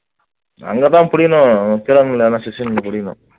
அங்கதான் புடிக்கணும் சிஷ்யனுங்களை புடிக்கணும்